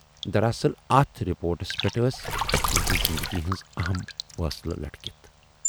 دراصل اَتھ رِپورٹس پٮ۪ٹھ ٲس تِہٕنزِ زِندگی ہٕنٛز ٲہم فاصلہٕ لٔٹکِتھ۔